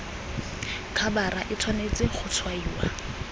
khabara e tshwanetse go tshwaiwa